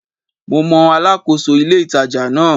Mo mọ Alákóso ilé-ìtàjà náà